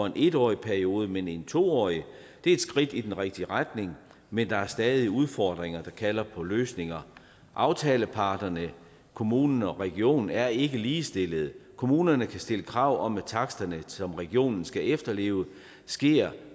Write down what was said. en årig periode men for en to årig det er et skridt i den rigtige retning men der er stadig udfordringer der kalder på løsninger aftaleparterne kommunen og regionen er ikke ligestillede kommunerne kan stille krav om taksterne som regionen skal efterleve og sker